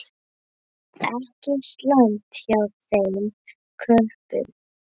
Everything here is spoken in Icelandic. Ekki slæmt hjá þeim köppum.